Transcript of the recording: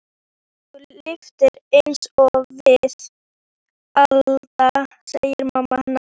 Ekki ef þú lifir einsog við Alda, segir mamma hennar.